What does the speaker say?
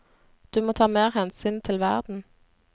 Du må ta mer hensyn til verden.